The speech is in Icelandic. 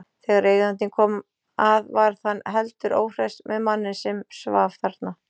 Þegar eigandinn kom að varð hann heldur óhress með manninn sem svaf þarna.